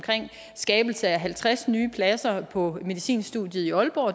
skabelse af halvtreds nye pladser på medicinstudiet i aalborg